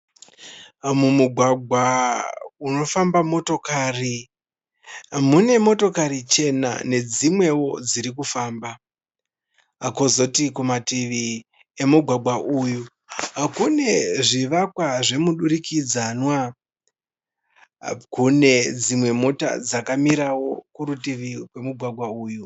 Mumugwagwa unofamba motokari. Mune motokari chena nedzimwewo dzirikufamba. Kozoti kumanativi emugwagwa uyu, kune zvivakwa zvemudurikidzanwa. Kune dzimwe mota dzakamirawo kurutivi kwemugwagwa uyu.